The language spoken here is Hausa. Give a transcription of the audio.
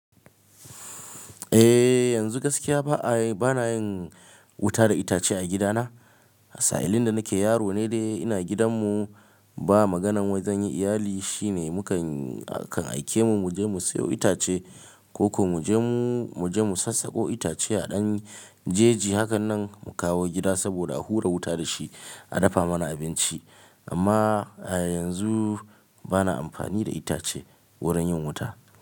Eh yanzu gaskiya ba a yi, bana yin wuta da itace a gidana. Sa'ilin da nake yaro ne dai ina gidan mu ba maganan wai zan yi iyali shine mu kan, akan aike mu je mu siyo itace ko ko mu je mu, mu je mu sassako itace a ɗan jeji hakan nan mu kawo gida saboda a hura wuta da shi, a dafa mana abinci. Amma a yanzu bana amfani da itace wurin yin wuta.